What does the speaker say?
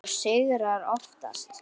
Og sigrar oftast.